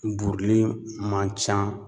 Buruli man ca.